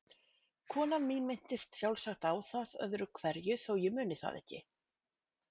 Konan mín minntist sjálfsagt á það öðru hverju þó ég muni það ekki.